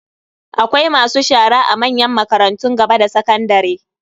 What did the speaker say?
Akwai masu shara a manyan makarantun gaba da sakandare.